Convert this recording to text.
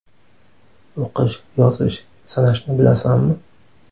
O‘qish, yozish, sanashni bilasanmi?